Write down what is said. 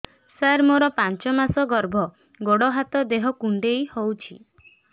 ସାର ମୋର ପାଞ୍ଚ ମାସ ଗର୍ଭ ଗୋଡ ହାତ ଦେହ କୁଣ୍ଡେଇ ହେଉଛି